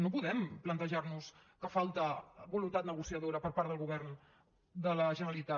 no podem plantejar nos que falta voluntat negociadora per part del govern de la generalitat